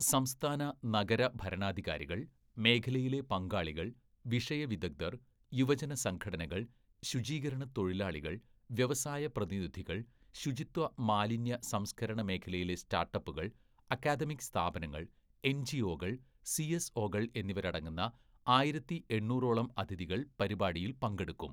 സംസ്ഥാന, നഗര ഭരണാധികാരികൾ, മേഖലയിലെ പങ്കാളികൾ, വിഷയ വിദഗ്ധർ, യുവജന സംഘടനകൾ, ശുചീകരണ തൊഴിലാളികൾ, വ്യവസായ പ്രതിനിധികൾ, ശുചിത്വ മാലിന്യ സംസ്കരണ മേഖലയിലെ സ്റ്റാർട്ടപ്പുകൾ, അക്കാദമിക് സ്ഥാപനങ്ങൾ, എൻജിഒ കൾ, സിഎസ്ഒ കൾ എന്നിവരടങ്ങുന്ന ആയിരത്തി എണ്ണൂറോളം അതിഥികൾ പരിപാടിയിൽ പങ്കെടുക്കും.